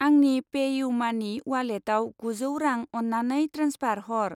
आंनि पे इउ मानि उवालेटाव गुजौ रां अन्नानै ट्रेन्सफार हर।